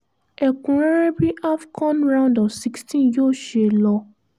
ẹ̀kúnrẹ́rẹ́ bí afọ̀n round of 16 yóò ṣe lọ